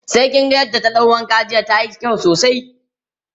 sai kin ga yadda ta ɗau wanka jiya tayi kyau sosai